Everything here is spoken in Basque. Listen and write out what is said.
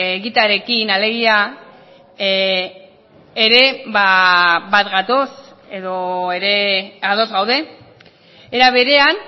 egitearekin alegia ere bat gatoz edo ere ados gaude era berean